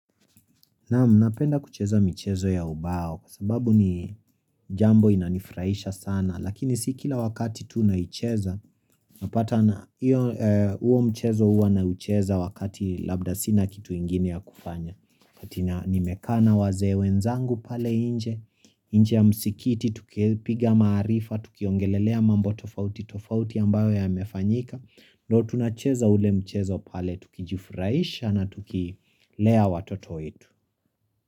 Napenda kucheza michezo ya ubao, sababu ni jambo inanifurahisha sana, lakini si kila wakati tunaicheza, napata na huo mchezo huwa naucheza wakati labda sina kitu ingini ya kufanya. Wakati nimekaa na wazee wenzangu pale nje, nje ya msikiti, tukipiga maarifa, tukiongelelea mambo tofauti, tofauti ambayo yamefanyika, ndo tunacheza ule mchezo pale, tukijifurahisha na tukilea watoto wetu.